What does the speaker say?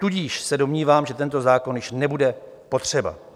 Tudíž se domnívám, že tento zákon již nebude potřeba.